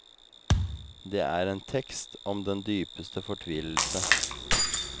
Det er en tekst om den dypeste fortvilelse.